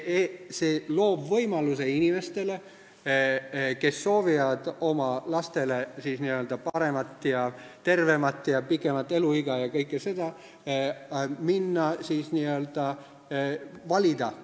See loob võimaluse inimestele, kes soovivad oma lastele paremat ja tervemat elu, pikemat eluiga jne, minna ja valida.